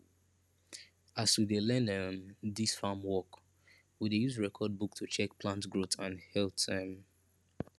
as we dey learn um dis farm work we dey use record book to check plant growth and health um